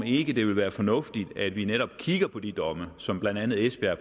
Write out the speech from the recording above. ikke ville være fornuftigt at vi netop kiggede på de domme som blandt andet esbjerg